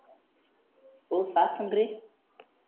पाऊस आसन रे